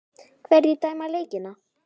Hverjir dæma leikina?